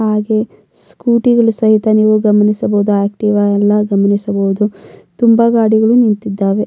ಹಾಗೆ ಸ್ಕೂಟಿಗಳು ಸಹಿತ ಗಮನಿಸಬಹುದು ಆಕ್ಟಿವಾ ಎಲ್ಲ ಗಮನಿಸಬಹುದು ತುಂಬ ಗಾಡಿಗಳು ನಿಂತಿದ್ದಾವೆ.